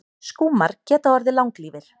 Skúmar geta orðið langlífir.